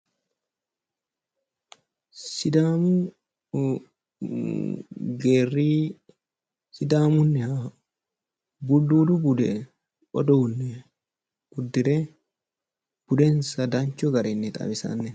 Sidaamu geerri sidaamunniha bulduudu budi uduunne uddire budensa danchu garinni xawisanno